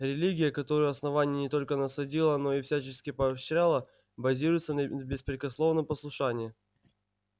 религия которую основание не только насадило но и всячески поощряло базируется на беспрекословном послушании